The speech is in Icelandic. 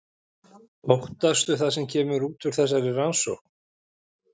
Óttastu það sem kemur út úr þessari rannsókn?